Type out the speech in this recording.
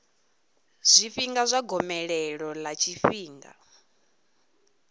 zwifhinga zwa gomelelo ḽa tshifhinga